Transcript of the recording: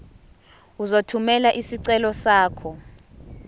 uzothumela isicelo sakho